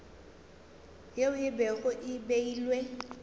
yeo e bego e beilwe